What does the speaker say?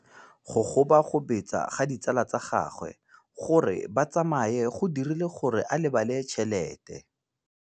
Go gobagobetsa ga ditsala tsa gagwe, gore ba tsamaye go dirile gore a lebale tšhelete.